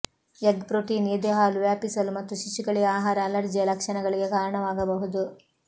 egg protein ಎದೆ ಹಾಲು ವ್ಯಾಪಿಸಲು ಮತ್ತು ಶಿಶುಗಳಿಗೆ ಆಹಾರ ಅಲರ್ಜಿಯ ಲಕ್ಷಣಗಳಿಗೆ ಕಾರಣವಾಗಬಹುದು